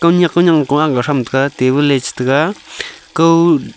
kunyak kono kua gag tham taga table ley chi taga kau--